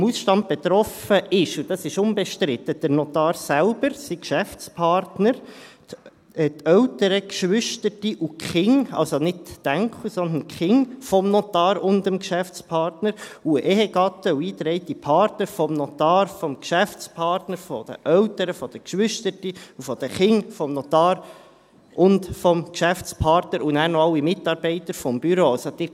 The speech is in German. Vom Ausstand betroffen sind – und dies ist unbestritten – der Notar selbst, sein Geschäftspartner, die Eltern, Geschwister und die Kinder – also nicht die Enkel, sondern die Kinder – des Notars und des Geschäftspartners, Ehegatten und eingetragene Partner des Notars, des Geschäftspartners, der Eltern, der Geschwister und der Kinder des Notars und des Geschäftspartners, und dann noch alle Mitarbeiter des Büros.